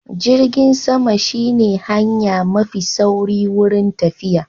Jirgin sama shi ne hanya mafi sauri wurin tafiya